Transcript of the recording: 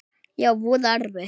Já, voða erfitt.